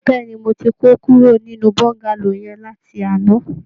Bẹ́ẹ̀ ni, mo ti kó kúrò nínú Bọ́ńgálò yẹn láti àná